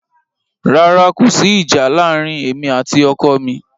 Rárá, kò sí ìjà láàárín èmi àti ọkọ mi.